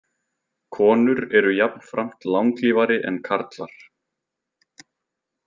Konur eru jafnframt langlífari en karlar.